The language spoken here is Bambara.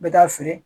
N bɛ taa feere